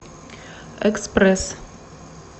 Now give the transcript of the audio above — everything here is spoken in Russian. экспресс